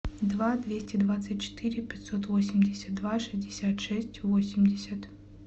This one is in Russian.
два двести двадцать четыре пятьсот восемьдесят два шестьдесят шесть восемьдесят